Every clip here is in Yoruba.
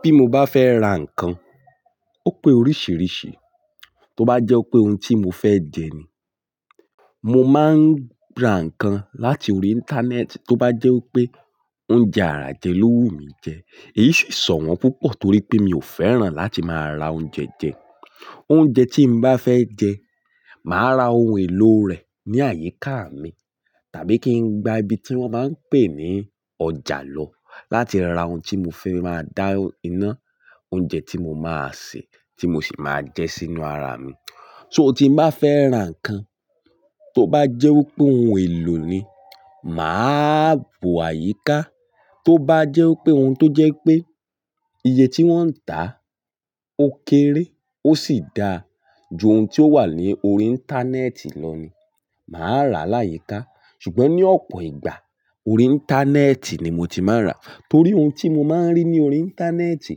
Bí mo bá fẹ́ ra nǹkan, ó pé oríṣìíríṣìí, tó bá jẹ́ pé ohun tí mo fẹ́ jẹ ni, mo máa ń ra nǹkan láti orí íńtánẹ́ẹ̀tì, tó bá jẹ́ pé oúnjẹ àrà jẹ ló wù mí jẹ, èyí sì sòwọ́n púpọ̀ torí pé mi ò fẹ́ràn láti máa ra oúnjẹ jẹ. Oúnjẹ tí mo bá fẹ́ jẹ, màá ra ohun èlò rẹ̀ ní àyíká mi, tàbí kí n gba ibi tí wọ́n máa ń pè ní ọjà lọ láti ra ohun tí mo fẹ́ máa dá iná oúnjẹ tí mo máa sè tí mo sì máa jẹ sínú ara mi. So tí mo bá fẹ́ ra nǹkan tó bá jẹ́ wí pé ohun èlò ni, màá bọ̀ àyíká, tó bá jẹ́ wí pé ohun tó jẹ́ pé iye tí wọ́n ń tà ó kéré ó sì dára ju ohun tí ó wà ní orí íńtánẹ́ẹ̀tì lọ ni, màá rà láyíkà. Ṣùgbọ́n ní ọ̀pọ̀ ìgbà orí íńtánẹ́ẹ̀tì ni mo ti máa ń rà torí ohun tí mo máa ń rí ní orí íńtánẹ́ẹ̀tì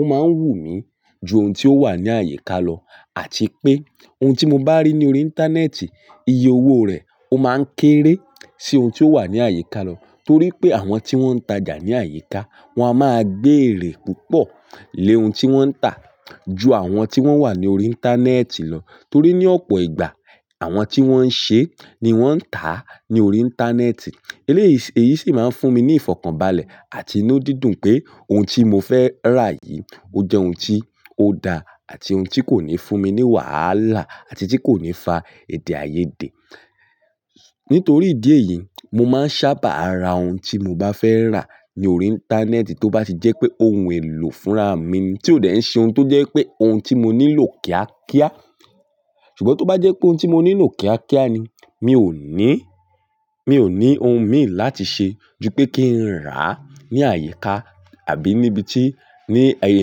ó máa ń wù mí ju ohun tí ó wà ní àyíká lọ, àti pé ohun tí mo bá rí ní orí íńtánẹ́ẹ̀tì iye owó rẹ̀ ó máa ń kéré sí ohun tí ó wà ní àyíká lọ torí pé àwọn tí wọ́n ń tajà ní àyíká wọ́n a máa gbé èrè púpọ̀ lé ohun tí wọ́n ń tà ju àwọn tí wọ́n wà ní orí íńtánẹ́ẹ̀tì lọ torí ní ọ̀pọ̀ ìgbà àwọn tí wọ́n ń ṣe ni wọ́n ń tà á ní orí íńtánẹ́ẹ̀tì. Eléyìí, èyí sì máa ń fún mi ní ìfọ̀kànbalẹ̀ àti inú dídùn pé ohun tí mo fẹ́ rà yìí ó jẹ́ ohun tí ó dára àti ohun tí kò ní fún mi ní wàhálà àti tí kò ní fa èdè-áiyedé. Nítorí ìdí èyí, mo máa ń sábà ra ohun tí mo bá fẹ́ rà ní orí íńtánẹ́ẹ̀tì tó bá ti jẹ́ pé ohun èlò fúnra mi ni tí ó dẹ̀ ń ṣe ohun tó jẹ́ pé ohun tí mo nílò kíákíá. Ṣùgbọ́n tó bá jẹ́ pé ohun tí mo nílò kíákíá ni, mi ò ní, mi ò ní ohun mi láti ṣe ju pé kí n rà á ní àyíká àbí níbi tí, ní ẹyẹ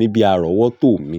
níbi ar'ọ̀wọ́tò mi.